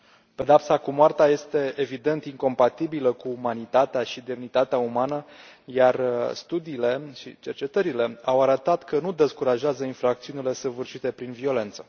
Pedeapsa cu moartea este evident incompatibilă cu umanitatea și demnitatea umană, iar studiile și cercetările au arătat că nu descurajează infracțiunile săvârșite prin violență.